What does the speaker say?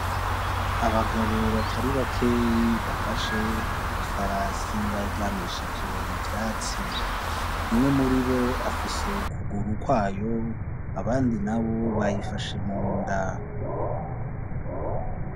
Abagabo batari bakeyi bafashe ifarasi baryamishije mu vyatsi umwe muri bo afise ukuguru kwayo abandi na bo bayifashe mu nda.